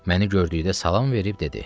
Məni gördükdə salam verib dedi: